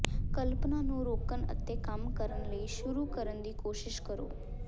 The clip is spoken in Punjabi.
ਕਲਪਨਾ ਨੂੰ ਰੋਕਣ ਅਤੇ ਕੰਮ ਕਰਨ ਲਈ ਸ਼ੁਰੂ ਕਰਨ ਦੀ ਕੋਸ਼ਿਸ਼ ਕਰੋ